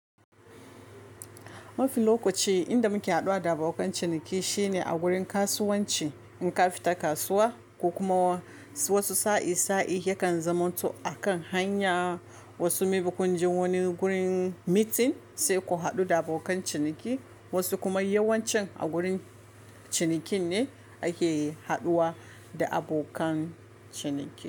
Mafi lokaci inda muke haɗuwa da abokan ciniki shine a gurin kasuwanci. In ka fita kasuwa ko kuma wasu sa'i-sa'i yakan zamanto akan hanya. Wasu may be kun je wani gurin meeting sai ku haɗu da abokan ciniki, wasu kuma yawancin a gurin cinikin ne ake haɗuwa da abokan ciniki.